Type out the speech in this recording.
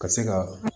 Ka se ka